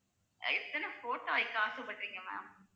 எத்தன photo வைக்க ஆசைப்படுறீங்க ma'am